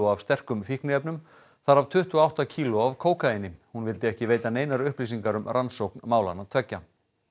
af sterkum fíkniefnum þar af tuttugu og átta kíló af kókaíni hún vildi ekki veita neinar upplýsingar um rannsókn málanna tveggja